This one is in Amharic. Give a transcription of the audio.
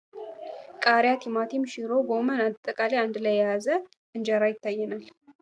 ቃሪያ፣ ቲማቲም፣ ሽሮ፣ ጎመን አጠቃላይ አንድ ላይ የያዘ እንጀራ ይታየናል።